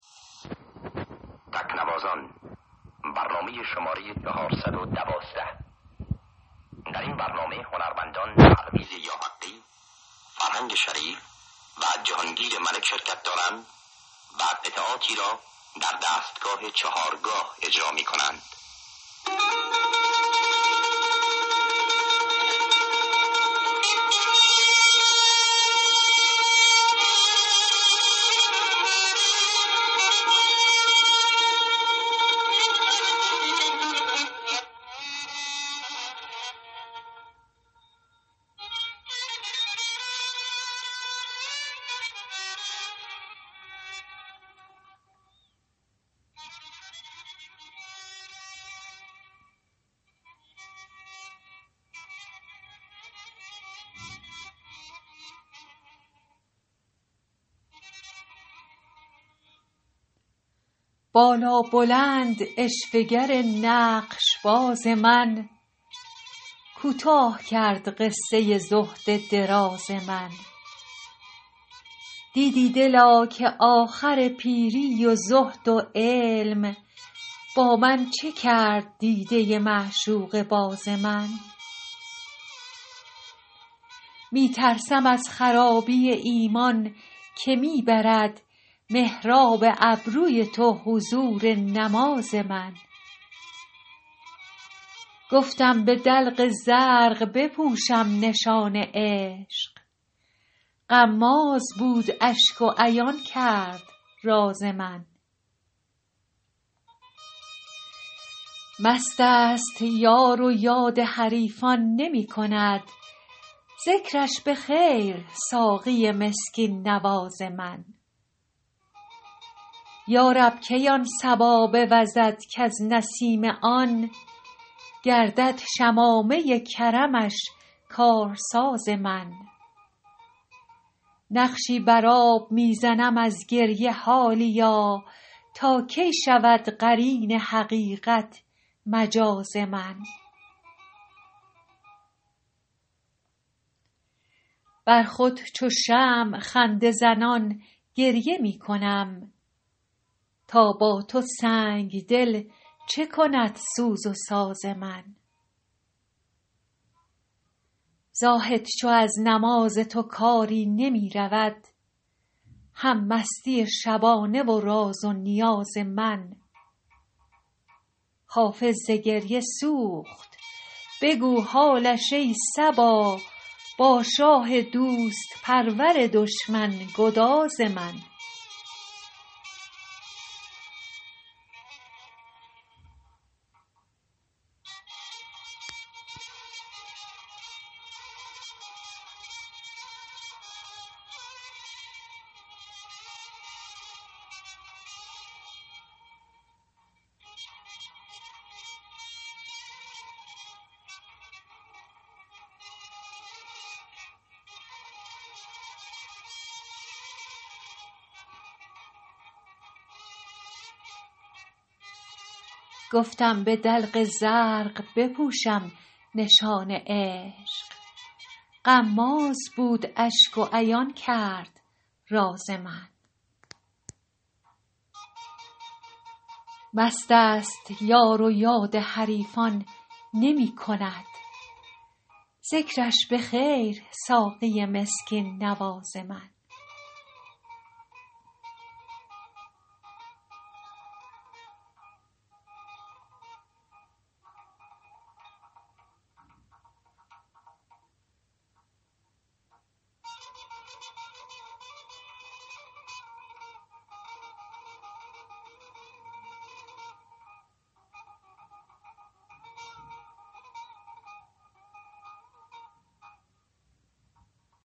بالابلند عشوه گر نقش باز من کوتاه کرد قصه زهد دراز من دیدی دلا که آخر پیری و زهد و علم با من چه کرد دیده معشوقه باز من می ترسم از خرابی ایمان که می برد محراب ابروی تو حضور نماز من گفتم به دلق زرق بپوشم نشان عشق غماز بود اشک و عیان کرد راز من مست است یار و یاد حریفان نمی کند ذکرش به خیر ساقی مسکین نواز من یا رب کی آن صبا بوزد کز نسیم آن گردد شمامه کرمش کارساز من نقشی بر آب می زنم از گریه حالیا تا کی شود قرین حقیقت مجاز من بر خود چو شمع خنده زنان گریه می کنم تا با تو سنگ دل چه کند سوز و ساز من زاهد چو از نماز تو کاری نمی رود هم مستی شبانه و راز و نیاز من حافظ ز گریه سوخت بگو حالش ای صبا با شاه دوست پرور دشمن گداز من